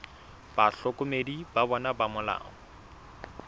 bahlokomedi ba bona ba molao